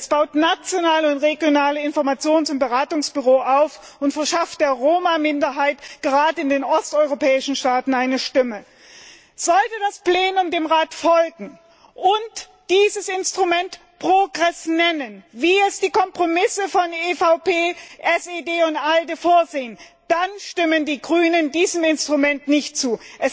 Es baut nationale und regionale Informations und Beratungsbüros auf und verschafft der Roma Minderheit gerade in den osteuropäischen Staaten eine Stimme. Sollte das Plenum dem Rat folgen und dieses Instrument PROGRESS nennen, wie es die Kompromisse von EVP, SD und ALDE vorsehen, dann stimmen die Grünen diesem Instrument nicht zu!